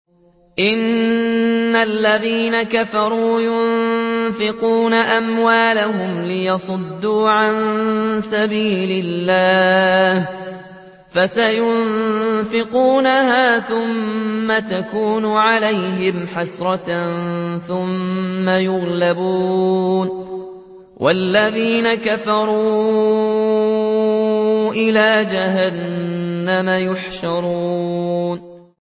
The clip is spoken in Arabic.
إِنَّ الَّذِينَ كَفَرُوا يُنفِقُونَ أَمْوَالَهُمْ لِيَصُدُّوا عَن سَبِيلِ اللَّهِ ۚ فَسَيُنفِقُونَهَا ثُمَّ تَكُونُ عَلَيْهِمْ حَسْرَةً ثُمَّ يُغْلَبُونَ ۗ وَالَّذِينَ كَفَرُوا إِلَىٰ جَهَنَّمَ يُحْشَرُونَ